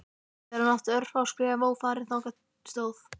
Þegar hann átti örfá skref ófarin þangað stóð